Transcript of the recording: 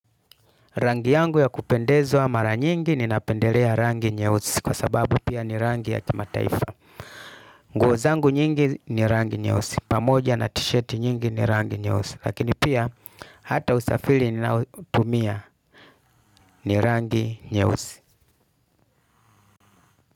Rangi yangu ya kupendezwa mara nyingi ninapendelea rangi nyeusi kwa sababu pia ni rangi ya kimataifa. Nguo zangu nyingi ni rangi nyeusi. Pamoja na t-shirt nyingi ni rangi nyeusi. Lakini pia hata usafiri ninaotumia ni rangi nyeusi.